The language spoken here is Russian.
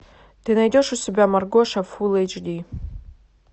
ты найдешь у себя маргоша фул эйч ди